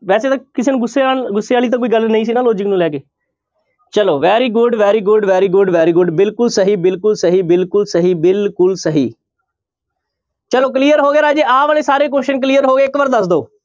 ਵੈਸੇ ਤਾਂ ਕਿਸੇ ਨੂੰ ਗੁੱਸੇ ਨਾਲ ਗੁੱਸੇ ਵਾਲੀ ਤਾਂ ਕੋਈ ਗੱਲ ਨਹੀਂ ਸੀ ਨਾ logic ਨੂੰ ਲੈ ਕੇ, ਚਲੋ very good, very good, very good, very good ਬਿਲਕੁਲ ਸਹੀ, ਬਿਲਕੁਲ ਸਹੀ, ਬਿਲਕੁਲ ਸਹੀ, ਬਿਲਕੁਲ ਸਹੀ ਚਲੋ clear ਹੋ ਗਿਆ ਰਾਜੇ ਆਹ ਵਾਲੇ ਸਾਰੇ question clear ਹੋ ਗਏ ਇੱਕ ਵਾਰ ਦੱਸ ਦਓ।